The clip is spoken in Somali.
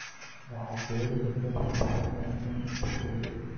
waxaad ka heli kartaa makhaayad wanaagsan oo kuu dhow